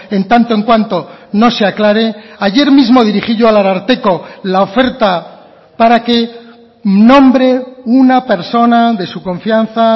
en tanto en cuanto no se aclare ayer mismo dirigí yo al ararteko la oferta para que nombre una persona de su confianza